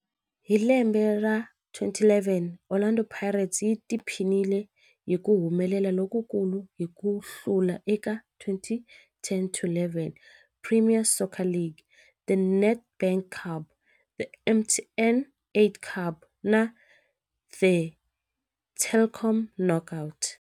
Hi lembe ra 2011, Orlando Pirates yi tiphinile hi ku humelela lokukulu hi ku hlula eka 2010-11 Premier Soccer League, The Nedbank Cup, The MTN 8 Cup na The Telkom Knockout.